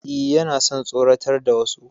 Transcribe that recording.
E, yana son tsoratar da wasu.